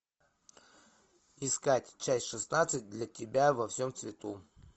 искать часть шестнадцать для тебя во всем цвету